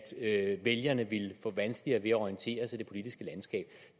at vælgerne ville få vanskeligere ved at orientere sig i det politiske landskab